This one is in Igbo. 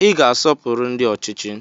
Ị ga-asọpụrụ ndị ọchịchị!